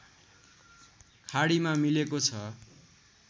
खाडीमा मिलेको छ